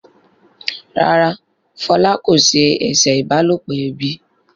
ràrá Fola kò se eṣe ìbálòpọ̀ ẹbí.